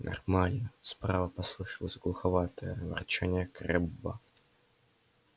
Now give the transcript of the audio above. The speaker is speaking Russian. нормально справа послышалось глуховатое ворчание крэбба